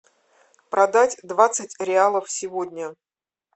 продать двадцать реалов сегодня